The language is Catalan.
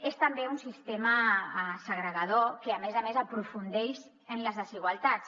és també un sistema segregador que a més a més aprofundeix en les desigualtats